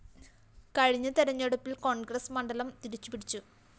കഴിഞ്ഞ തെരഞ്ഞെടുപ്പില്‍ കോണ്‍ഗ്രസ്‌ മണ്ഡലം തിരിച്ചുപിടിച്ചു